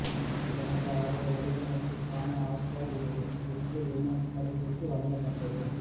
சிறந்த ஆடை வடிவமைப்புக்கான ஆஸ்கர் விருது லிட்டில் வுமன் படத்திற்கு வழங்கப்பட்டது